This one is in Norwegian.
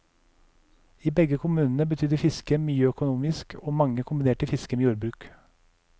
I begge kommunene betydde fisket mye økonomisk, og mange kombinerte fisket med jordbruk.